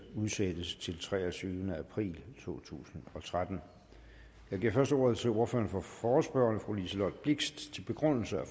udsættes til den treogtyvende april to tusind og tretten jeg giver først ordet til ordføreren for forespørgerne fru liselott blixt til begrundelse af